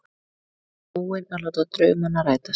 Búinn að láta draumana rætast.